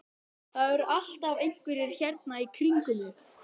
Það eru alltaf einhverjir hérna í kringum mig.